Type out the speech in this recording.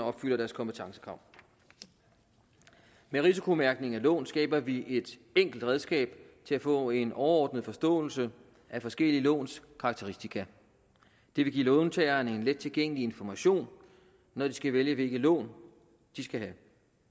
opfylder deres kompetencekrav med risikomærkning af lån skaber vi et enkelt redskab til at få en overordnet forståelse af forskellige låns karakteristika det vil give låntagerne en let tilgængelig information når de skal vælge hvilke lån de skal have